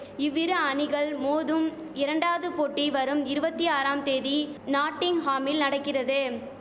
இவ்விரு அணிகள் மோதும் இரண்டாவது போட்டி வரும் இருவத்தி ஆறாம் தேதி நாட்டிங்ஹாமில் நடக்கிறது